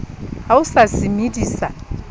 ha o sa se medisa